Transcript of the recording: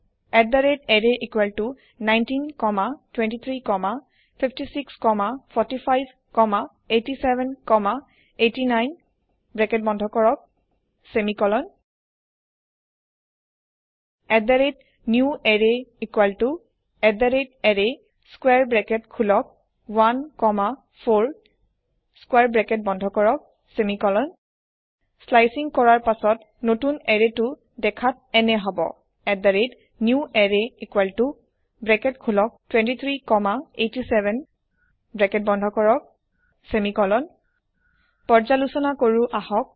array19 comma 23 comma 56 comma 45 comma 87 comma 89 bracket বন্ধ কৰক semicolon newArrayarray square bracket খোলক 1 comma 4 square bracket বন্ধ কৰক চেমিকলন স্লাইচিং কৰাৰ পাছত নতুন এৰেয়টো দেখাত এনে হব newArrayব্ৰেকেট খোলক 23 কমা 87 ব্ৰেকেট বন্ধ কৰক চেমিকলন পৰ্য্যালোচনা কৰো আহক